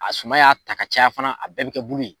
A suma y'a ta ka caya fana a bɛɛ bi kɛ bulu ye.